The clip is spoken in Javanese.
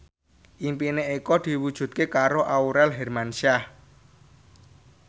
impine Eko diwujudke karo Aurel Hermansyah